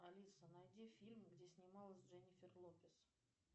алиса найди фильм где снималась дженифер лопес